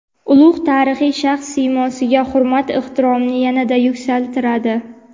ulug‘ tarixiy shaxs siymosiga hurmat-ehtiromini yanada yuksaltiradi!.